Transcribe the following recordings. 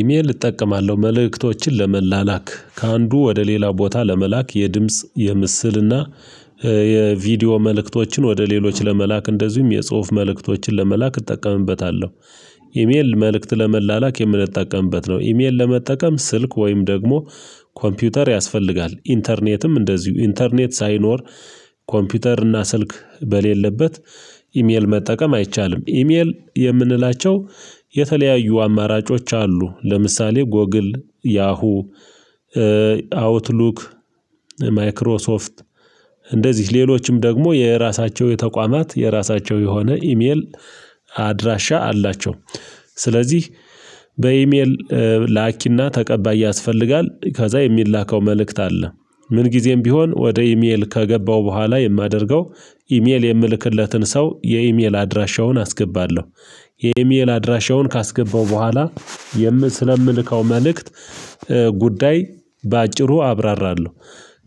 ኢሜል እጠቀማለሁ መልእክቶችን ለመላላክ ከአንዱ ወደ ሌላው ቦታ ለመላክ የድምጽ የምስል እና የቪዲዮ መልእክቶችን ወደ ሌሎች ለመላክ እንደዚሁም የፁሁፍ መልእክቶችን ለመላክ እጠቀምበታለሁ። ኢሜል መልእክት ለመላላክ የምንጠቀምበት ነው። ኢሜል ለመጠቀም ስልክ ወይም ደግሞ ኮምፒውተር ያስፈልጋል ኢንተርኔትም እንደዚሁ ኢንተርኔት ሳይኖር ኮምፒውተር እና ስልክ በሌለበት ኢሜል መጠቀም አይቻልም። ኢሜል የምንላቸው የተለያዩ አማራጮች አሉ ለምሳሌ ጎግል ያሁ አውትሉክ ማይክሮሶፍት እንደዚህ ሌሎችም ደግሞ የራሳቸው የተቋማት የራሳቸው የሆነ ኢሜል አድራሻ አላቸው። ስለዚህ በኢሜል ላኪና ተቀባይ ያስፈልጋል ከዛ የሚላከው መልእክት አለ። ምን ጊዜም ቢሆን ወደ ኢሜል ከገባው በኋላ የማደርገው ኢሜል የምልክለትን ሰው የኢሜል አድራሻውን አስገባለሁ። የኢሜል አድራሻውን ካስገባው በኋላ ስለምልከው መልእክት ጉዳይ በአጭሩ አብራራለሁ።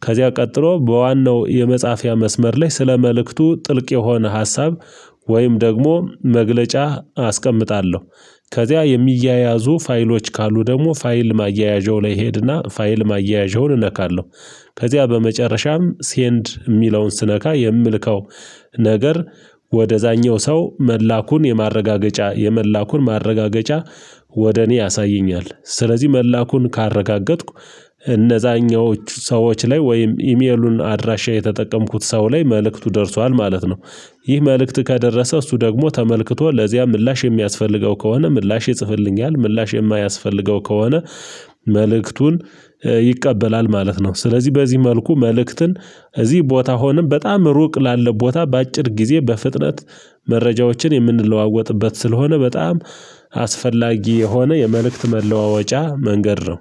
ከዚያ ቀጥሎ በዋናው የመፃፊያ መስመር ላይ ስለ መልእክቱ ጥልቅ የሆነ ሀሳብ ወይም ደግሞ መግለጫ አስቀምጣለሁ። ከዚያ የሚያያዙ ፋይሎች ካሉ ደግሞ ፋይል ማያያዣው ላይ ሄድና ፋይል ማያያዣውን እነካለሁ። ከዚያ በመጨረሻም ሴንድ የሚለውን ስነካ የምልከው ነገር ወደዛኛው ሰው መላኩን የማረጋገጫ የመላኩን ማረጋገጫ ወደ እኔ ያሳየኛል። ስለዚህ መላኩን ካረጋገጥኩ እነዛኞቹ ሰዎች ላይ ወይም ኢሜሉን አድራሻ የተጠቀምኩት ሰው ላይ መልእክቱ ደርሷል ማለት ነው። ይህ መልእክት ከደረሰ እሱ ደግሞ ተመልክቶ ለዚያ ምላሽ የሚያስፈልገው ከሆነ ምላሽ ይፅፍልኛል። ምላሽ የማያስፈልገው ከሆነ መልእክቱን ይቀበላል ማለት ነው። ስለዚህ በዚህ መልኩ መልእክትን እዚህ ቦታ ሆኖን በጣም ሩቅ ላለ ቦታ በአጭር ጊዜ በፍጥነት መረጃዎችን የምንለዋወጥበት ስለሆነ በጣም አስፈላጊ የሆነ የመልእክት መለዋወጫ መንገድ ነው